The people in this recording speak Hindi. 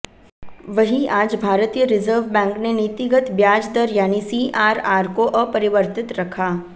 वहीं आज भारतीय रिजर्व बैंक ने नीतिगत ब्याज दर यानी सीआरआर को अपरिवर्तित रखा